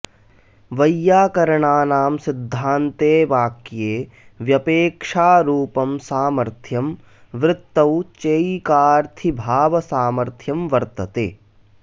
वैयाकरणानां सिद्धान्ते वाक्ये व्यपेक्षारूपं सामर्थ्यं वृत्तौ चैकार्थीभावसामर्थ्यं वर्तते